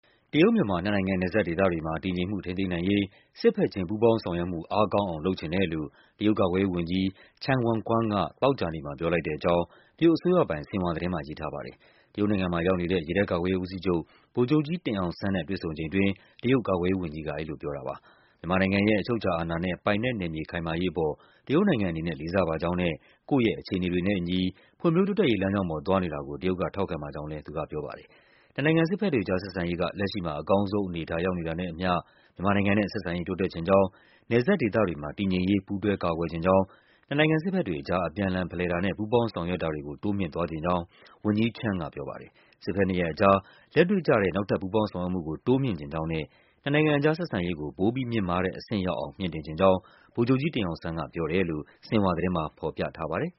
တရုတ်-မြန်မာ နှစ်နို်င်ငံ နယ်စပ်ဒေသတွေမှာ တည်ငြိမ်မှုကိုထိန်းသိမ်းနိုင်ရေး စစ်ဘက်ချင်း ပူးပေါင်းဆောင်ရွက်မှု အားကောင်း အောင် လုပ်ချင်တယ်လို့ တရုတ်ကာကွယ်ရေးဝန်ကြီး Chang Wanquan က သောကြာနေ့မှာ ပြောလိုက်တဲ့ကြောင်း တရုတ် အစိုးရပိုင် ဆင်ဟွာသတင်းမှာ ရေးထားပါတယ်။ တရုတ်နိုင်ငံမှာရောက်နေတဲ့ ရေတပ်ကာကွယ်ရေးဦးစီးချုပ် ဗိုလ်ချုပ်ကြီး တင်အောင်ဆန်းနဲ့ တွေ့ဆုံချိန်အတွင်း တရုတ်ကာကွယ် ရေးဝန်ကြီးက အဲဒီလိုပြောတာပါ။ မြန်မာနိုင်ငံရဲ့ အချုပ်အခြာအာဏာနဲ့ ပိုင်နက်နယ်မြေခိုင်မာရေးအပေါ် တရုတ်နိုင်ငံအနေနဲ့ လေးစားပါကြောင်းနဲ့ ကိုယ့်ရဲ့ အခြေ အနေတွေနဲ့အညီ ဖွံ့ဖြိုးတိုးတက်ရေးလမ်းကြောင်းပေါ် သွားနေတာကို တရုတ်က ထောက်ခံပါကြောင်းလဲ သူကပြောပါတယ်။ နှစ်နိုင်ငံစစ်ဘက်တွေအကြား ဆက်ဆံရေးက လက်ရှိမှာ အကောင်းဆုံးအနေအထား ရောက်နေတာနဲ့အညီ မြန်မာနိုင်ငံနဲ့ ဆက်ဆံရေး တိုးတက်ချင်ကြောင်း၊ နယ်စပ်ဒေသတွေမှာ တည်ငြိမ်ရေး ပူးတွဲ ကာကွယ်ချင်ကြောင်း၊ နှစ်နိုင်ငံစစ်ဘက်တွေ အကြား အပြန်အလှန်ဖလှယ်တာနဲ့ ပူးပေါင်းဆောင်ရွက်တာတွေကို တိုးမြှင့်သွားချင်ကြောင်း ဝန်ကြီး Chang ကပြောပါတယ်။ စစ်ဘက်နှစ်ရပ်အကြား လက်တွေ့ကျတဲ့ နောက်ထပ်ပူးပေါင်းဆောင်ရွက်မှုကို တိုးမြှင့်ချင်ကြေင်းနဲ့ နှစ်နိုင်ငံကြား ဆက်ဆံရေးကို ပိုပြီးမြင့်မားတဲ့အဆင့်ရောက်အောင် မြှင့်တင်ချင်ကြောင်း ဗိုလ်ချုပ်ကြီးတင်အောင်ဆန်းက ပြောတယ်လို့ ဆင်ဟွာသတင်းမှာ ဖော်ပြထားပါတယ်